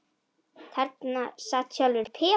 Þarna sat sjálfur Peter